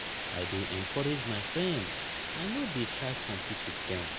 i dey encourage my friends i no dey try compete wit dem.